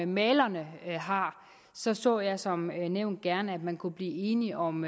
malerne har så så jeg som nævnt gerne at man kunne blive enige om